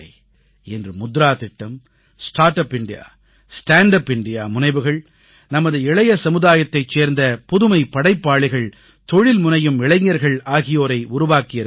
இன்று முத்ரா திட்டம் start up India stand up India முனைவுகள் நமது இளைய சமுதாயத்தைச் சேர்ந்த புதுமை படைப்பாளிகள் தொழில்முனையும் இளைஞர்கள் ஆகியோரை உருவாக்கியிருக்கின்றன